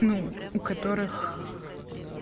ну у которых